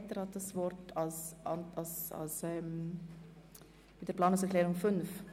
Etter hat das Wort für die Planungserklärung 5.